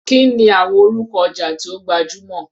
Kí ni àwọn orúkọ ọjà tí ó gbajúmọ̀?